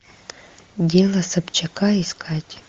дело собчака искать